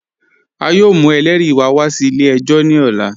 A yọọ mù ẹlẹ́ri wá wà sí ilẹ̀-ẹ̀jọ̀ ní òlà.